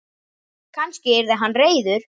Kannski yrði hann reiður?